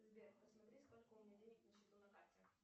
сбер посмотри сколько у меня денег на счету на карте